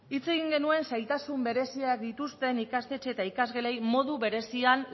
hitz egin genuen zailtasun bereziak dituzten ikastetxe eta ikasgelei modu berezian